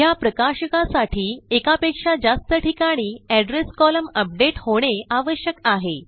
ह्या प्रकाशकासाठी एकापेक्षा जास्त ठिकाणी एड्रेस कोलम्न अपडेट होणे आवश्यक आहे